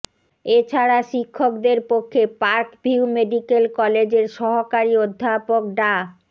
এছাড়া শিক্ষকদের পক্ষে পার্ক ভিউ মেডিকেল কলেজের সহকারী অধ্যাপক ডা